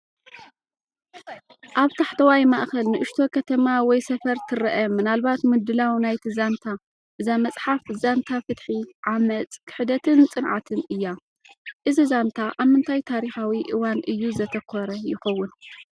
ኣብ ታሕተዋይ ማእከል ንእሽቶ ከተማ ወይ ሰፈር ትረአ፣ ምናልባት ምድላው ናይቲ ዛንታ። እዛ መጽሓፍ ዛንታ ፍትሒ፡ ዓመጽ፡ ክሕደትን ጽንዓትን እያ። እዚ ዛንታ ኣብ ምንታይ ታሪኻዊ እዋን እዩ ዘተኮረ ይኸውን?